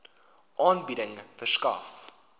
aanbieding verskaf